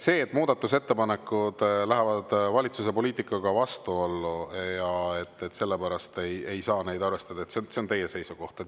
See, et kui muudatusettepanekud lähevad valitsuse poliitikaga vastuollu, siis sellepärast ei saa neid arvestada, on teie seisukoht.